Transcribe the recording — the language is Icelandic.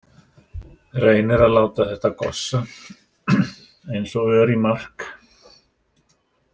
Reynir að láta þetta gossa eins og ör í mark.